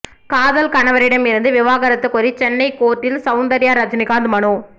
காதல் கணவரிடம் இருந்து விவாகரத்து கோரி சென்னை கோர்ட்டில் சவுந்தர்யா ரஜினிகாந்த் மனு